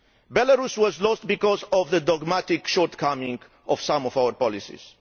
Belarus was lost because of the dogmatic shortcomings of some of our policies.